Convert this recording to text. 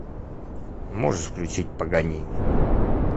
можешь включить паганини